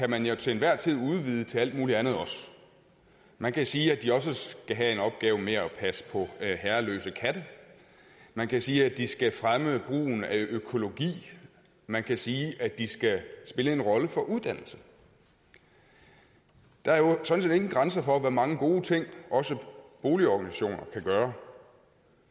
man jo til enhver tid udvide til alt muligt andet også man kan sige at de også skal have en opgave med at passe på herreløse katte man kan sige at de skal fremme brugen af økologi man kan sige at de skal spille en rolle for uddannelse der er jo sådan set ingen grænser for hvor mange gode ting også boligorganisationer kan gøre